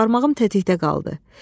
Barmağım tətikdə qaldı.